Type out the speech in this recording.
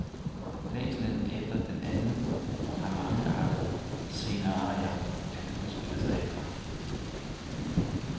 Længslen efter den anden har mangeartede scenarier at udspille sig efter.